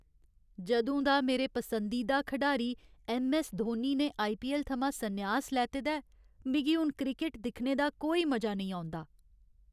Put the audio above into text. जदूं दा मेरे पसंदीदा खढारी ऐम्म. ऐस्स. धोनी ने आई. पी. ऐल्ल. थमां सन्यास लैते दा ऐ, मिगी हून क्रिकट दिक्खने दा कोई मजा नेईं औंदा।